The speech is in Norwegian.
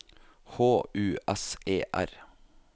H U S E R